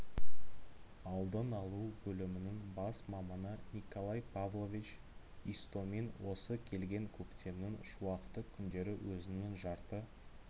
алдын алу бөлімінің бас маманы николай павлович истомин осы келген көктемнің шуақты күндері өзінің жарты